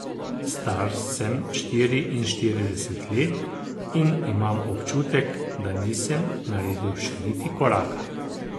Star sem štiriinštirideset let in imam občutek, da nisem naredil še niti koraka.